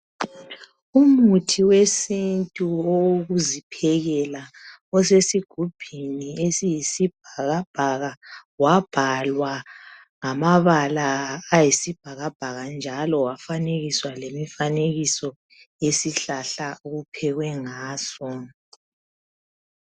umuthi wesintu wokokuziphekela osesigubhini esiyisi bhakabhaka wabhalwa ngamabala ayisibhakabhaka njalo wafanekiso lemifanekiso yesihlahla okuphekwe ngaso